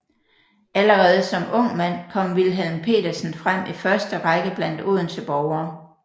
Allerede som ung mand kom Wilhelm Petersen frem i første Række blandt Odense borgere